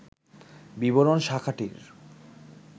বিবরণ শাখাটির